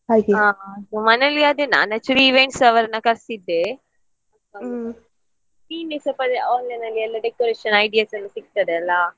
ಹಾ ಮನೆಯಲ್ಲಿ ಅದೇ ನಾನು actually events ಅವ್ರನ್ನ ಕರಿಸಿದ್ದೆ ನೀನೆ ಸ್ವಲ್ಪ online ಅಲ್ಲಿ ಎಲ್ಲ decoration ideas ಎಲ್ಲ ಸಿಗ್ತದೆ ಅಲ್ಲ.